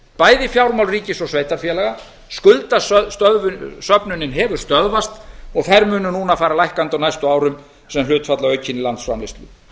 bæði fjármál ríkis og sveitarfélaga skuldasöfnunin hefur stöðvast og þær munu núna fara lækkandi á æstu árum sem hlutfall af aukinni landsframleiðslu